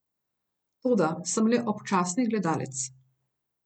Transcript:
Toda, sem le občasni gledalec.